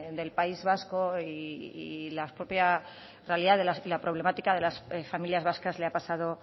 del país vasco y la propia realidad y la problemática de las familias vascas le ha pasado